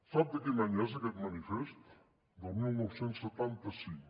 sap de quin any és aquest manifest del dinou setanta cinc